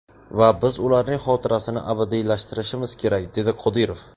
Va biz ularning xotirasini abadiylashtirishimiz kerak”, dedi Qodirov.